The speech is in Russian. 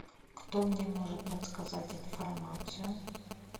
кто мне может подсказать информацию